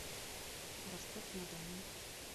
ростов на дону